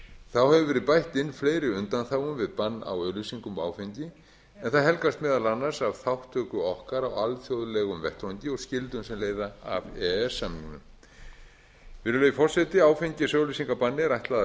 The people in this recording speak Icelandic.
þá hefur verið bætt við fleiri undanþágum við bann á auglýsingum um áfengi en það helgast meðal annars af þátttöku okkar á alþjóðlegum vettvangi og skyldum sem leiða af e e s samningnum virðulegi forseti áfengisauglýsingabanni er ætlað að